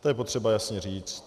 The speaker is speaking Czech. To je potřeba jasně říct.